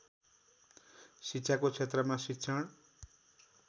शिक्षाको क्षेत्रमा शिक्षण